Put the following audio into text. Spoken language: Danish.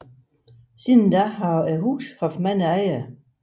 Siden har huset haft mange ejere